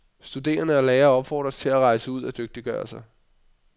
Studerende og lærere opfordres til at rejse ud og dygtiggøre sig.